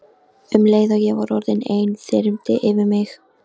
Um leið og ég var orðin ein þyrmdi yfir mig.